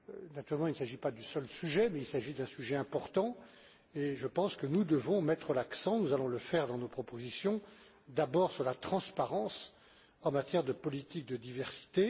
Naturellement, ce n'est pas le seul sujet, mais il s'agit d'un sujet important et nous devons mettre l'accent nous allons le faire dans nos propositions avant tout sur la transparence en matière de politique de diversité.